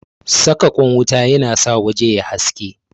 Saka ƙwan wuta yana sa waje yayi haske